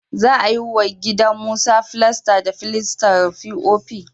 Za a yi wa gidan Musa filasta da filastar fi'ofi